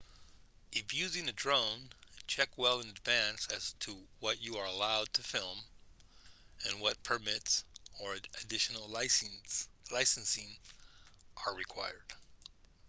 if using a drone check well in advance as to what you are allowed to film and what permits or additional licensing are required